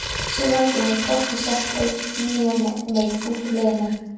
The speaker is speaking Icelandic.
Sigvaldi hefur hvorki sett einn né neinn út úr liðinu.